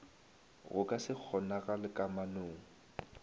go ka se kgonagale kamanong